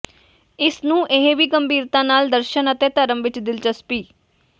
ਇਸ ਨੂੰ ਇਹ ਵੀ ਗੰਭੀਰਤਾ ਨਾਲ ਦਰਸ਼ਨ ਅਤੇ ਧਰਮ ਵਿਚ ਦਿਲਚਸਪੀ